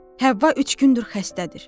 Həvva üç gündür xəstədir.